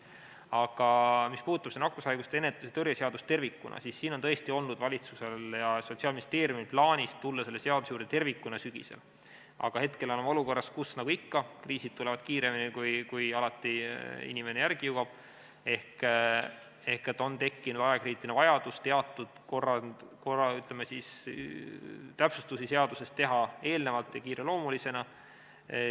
Aga mis puudutab nakkushaiguste ennetamise ja tõrje seadust tervikuna, siis tõesti on valitsusel ja Sotsiaalministeeriumil olnud plaanis tulla selle seaduse juurde tervikuna sügisel, aga nagu ikka, kriisid tulevad kiiremini, kui inimene järele jõuab, ehk on tekkinud ajakriitiline vajadus teatud täpsustusi seaduses teha varem ja kiireloomulisena.